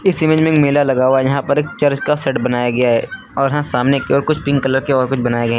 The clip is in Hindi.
इसी में मेला लगा हुआ है यहां पर एक चर्च का सेट बनाया गया है और हा सामने कुछ पिंक कलर के और कुछ बनाए गए हैं।